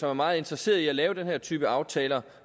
er meget interesserede i at lave den her type aftaler